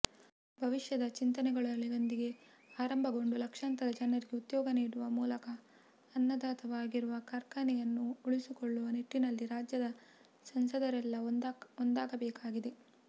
ಭವಿಷ್ಯದ ಚಿಂತನೆಗಳೊಂದಿಗೆ ಆರಂಭಗೊಂಡು ಲಕ್ಷಾಂತರ ಜನರಿಗೆ ಉದ್ಯೋಗ ನೀಡುವ ಮೂಲಕ ಅನ್ನದಾತವಾಗಿರುವ ಕಾರ್ಖಾನೆಯನ್ನು ಉಳಿಸಿಕೊಳ್ಳುವ ನಿಟ್ಟಿನಲ್ಲಿ ರಾಜ್ಯದ ಸಂಸದರೆಲ್ಲ ಒಂದಾಗಬೇಕಾಗಿದೆ